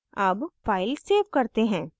अब file save करते हैं